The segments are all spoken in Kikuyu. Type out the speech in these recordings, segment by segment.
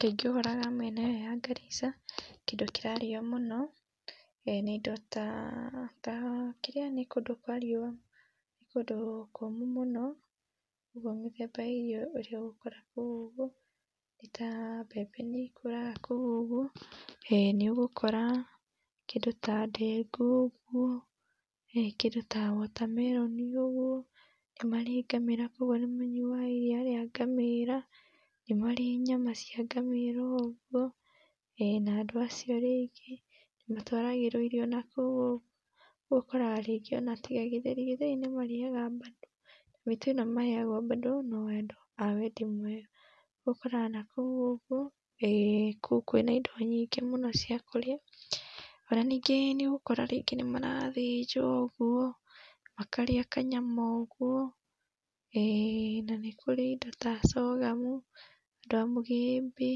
Kaingĩ ũkoraga mĩena ĩyo ya Garissa kĩndũ kĩrarĩo mũno nĩ indo ta kĩrĩa nĩ kũndũ kwa riua nĩ kũdũ kũmũ mũno ũguo mĩthemba ya irio iria ũgũkora kũu ũguo nĩ ta mbembe nĩ ikũraga kũũ ũguo nĩũgũkora kĩndũ ta ndengũ ũguo kĩndũ ta watermelon ũguo nĩmarĩ ngamĩra kwa ũguo níĩanyuaga iria ria ngamĩra níĩarĩ nyama cia ũguo na na andũ acio rĩngĩ nĩmatwaragĩrwo irio nakũũ ũguo rĩu ũkoraga ona rĩngĩ tiga gĩtheri gĩtheri nĩmarĩaga badũ mĩtu ĩno maheagwo badũ no ya andũ a wendi mwega rĩu ũkoraga nakũũ ũguo kũũ kwĩna indo nyingĩ cia kũrĩa ona ningĩ nĩũgũkora nĩmarathĩnja ũguo makarĩa kanayama ũguo na nĩ kũrĩ indo ta sorghum ta mũgĩmbĩ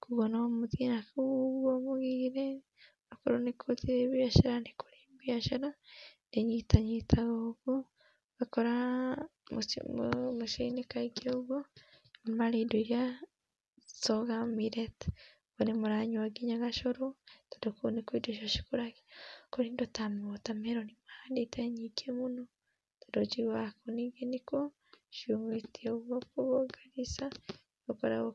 kwa ũguo no mũthĩi nakũũ ũguo gũgĩthĩĩ biacara nĩkũrĩ mbiacara ĩnyitanyitaga ũguo ũgakora mĩcĩini kaingĩ ũguo nĩmarĩ indo iria sorghum millet rĩmwe nĩ mũranyua ngina gacũrũ tondũ kũu nĩkwo indo ta icio cikũragĩra, kũrĩ indo ta watermelon mahandĩte nyĩngĩ mũno tondũ njiguaga kũũ nĩkuo cihũrĩte ũguo, kwa ũguo Garissa gũkoragwo...